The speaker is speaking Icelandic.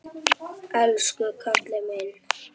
Elsku kallinn minn.